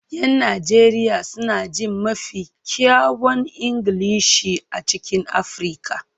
Yan Najeriya suna jin mafi kyawun Ingilishi a cikin Afirka